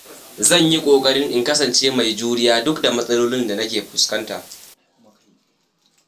Zan yi kokari in kasance mai juriya duk da matsalolin da nake fuskanta.